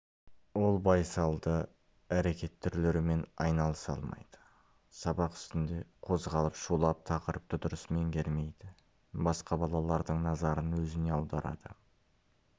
ол байсалды әрекет түрлерімен айналыса алмайды сабақ үстінде қозғалып шулап тақырыпты дұрыс меңгермейді басқа балалардың назарын өзіне аударады